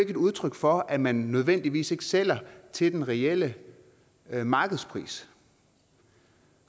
et udtryk for at man ikke nødvendigvis sælger til den reelle markedspris